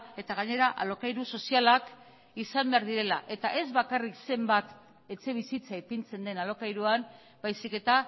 eta gainera alokairu sozialak izan behar direla eta ez bakarrik zenbat etxebizitza ipintzen den alokairuan baizik eta